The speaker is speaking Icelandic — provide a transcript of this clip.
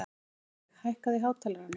Aðalveig, hækkaðu í hátalaranum.